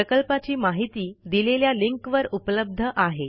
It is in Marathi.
प्रकल्पाची माहिती दिलेल्या लिंकवर उपलब्ध आहे